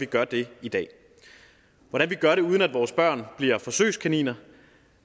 gør det i dag hvordan vi gør det uden at vores børn bliver forsøgskaniner